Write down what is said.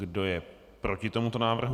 Kdo je proti tomuto návrhu?